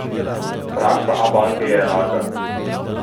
Praksa Abanke je enaka.